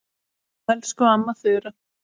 Elsku amma Þura.